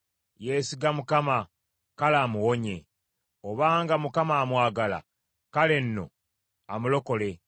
“Yeesiga Mukama ; kale amuwonye. Obanga Mukama amwagala, kale nno amulokole!”